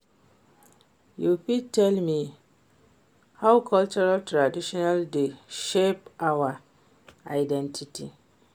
You fit tell me how cultural traditon dey shape our identity?